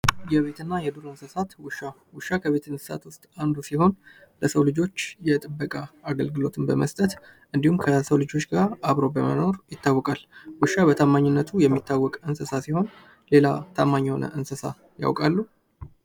የቤትና የዱር እንስሳት ውሻ፦ ውሻ ከቤት እንስሳት ውስጥ አንዱ ሲሆን ለሰው ልጆች የጥበቃ አገልግሎትን በመስጠት እንዲሁም ከሰው ልጆች ጋር በመኖር ይታወቃል ውሻ በታማኝነቱ የሚታወቅ እንስሳ ሲሆን ሌላ ታማኝ የሆነ እንስሳ ያውቃሉ?